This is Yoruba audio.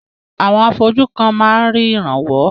Àwọn afọ́jú kan máa rí ìrànwọ́.